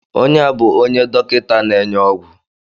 Ọnye a bụ onye dọkịta n'enye ọgwụ.